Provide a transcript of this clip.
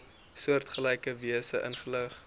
soortgelyke wyse ingelig